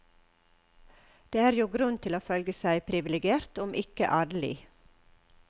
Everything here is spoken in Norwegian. Det er jo grunn nok til å føle seg privilegert, om ikke adelig.